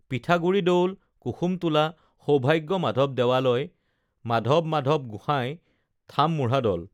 পিঠাগুৰি দৌল কুসুমটোলা সৌভাগ্য মাধৱ দেয়ালয় মাধৱমাধৱ গোসাঁই থামমুঢ়াদল